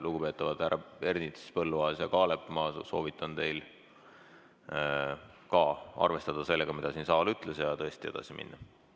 Lugupeetavad härrad Ernits, Põlluaas ja Kaalep, ma soovitan ka teil arvestada sellega, mida saal ütles, ja tõesti edasi minna.